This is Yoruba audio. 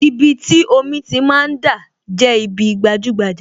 Ibi tí omi ti máa ń dà, jẹ́ ibi gbajúgbajà